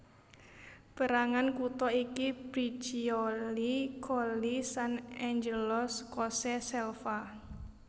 Pérangan kutha iki Briccioli Colli Sant Angelo Scosse Selva